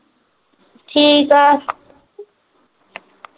ਠੀਕ ਆ